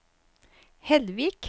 Hellvik